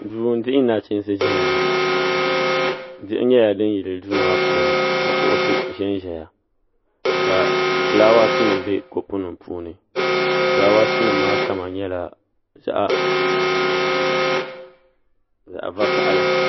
duu n dihi nachiinsi ʒɛya ŋɔ diɣi nyɛla din yili duu maa puuni ka kuɣusi ʒɛnʒɛya ka fulaawaasi nim bɛ kopu nim puuni fulaawaasi nim maa kama nyɛla zaɣ vakaɣali